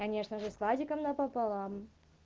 конечно же с владиком напополам